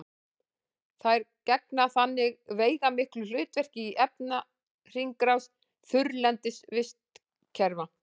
þær gegna þannig veigamiklu hlutverki í efnahringrás þurrlendis vistkerfa